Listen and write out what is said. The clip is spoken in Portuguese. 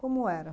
Como era?